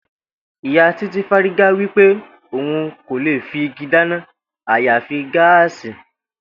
Ìyá Titi fárígá wípé òun kò lè fi igi dáná àyàfi gáàsì